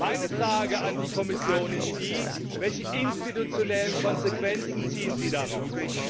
Meine Frage an die Kommission ist Welche institutionellen Konsequenzen ziehen Sie daraus?